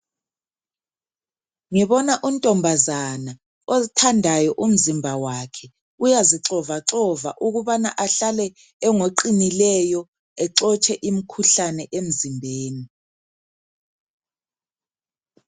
Ngibona untombazana ozithandayo umzimba wakhe uyazixovaxoxa ukubana ahlale engoqinileyo exotshe imikhuhlane emzimbeni.